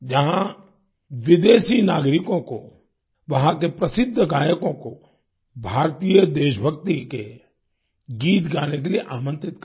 जहाँ विदेशी नागरिकों को वहाँ के प्रसिद्ध गायकों को भारतीय देशभक्ति के गीत गाने के लिये आमंत्रित करें